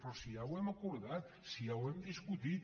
però si ja ho hem acordat si ja ho hem discutit